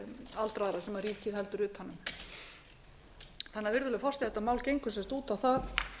aldraðra sem ríkið heldur utan um virðulegi forseti þetta mál gengur sem sagt út á það